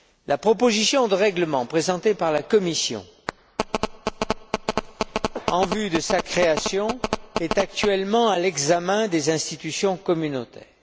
La proposition de règlement présentée par la Commission en vue de sa création est actuellement à l'examen au sein des institutions communautaires.